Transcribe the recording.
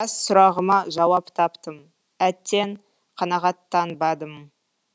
біраз сұрағыма жауап таптым әттең қанағаттанбадым